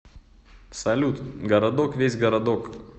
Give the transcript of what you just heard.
салют городок весь городок